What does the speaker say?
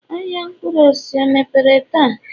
ahịa mkpụrụ osisi o mepere taa?